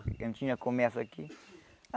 Eu não tinha comércio aqui.